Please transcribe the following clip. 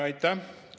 Aitäh!